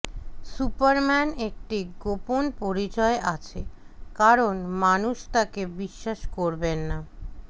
Superman একটি গোপন পরিচয় আছে কারণ মানুষ তাকে বিশ্বাস করবেন না